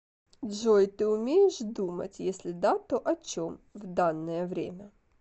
джой ты умеешь думать если да то о чем в данное время